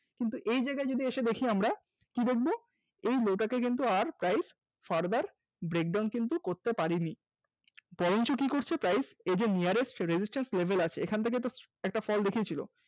কিন্তু এই জায়গায় যদি এসে দেখি আমরা কি দেখব এই low টাকে কিন্তু আর Price further break down করতে পারেনি বরঞ্চ কি করছে price এদের Nearest resistance level আছে এখান থেকে তো একটা fall দেখিয়েছিল